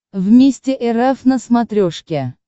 вместе эр эф на смотрешке